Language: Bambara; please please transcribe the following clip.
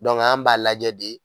Dɔnke an b'a lajɛ de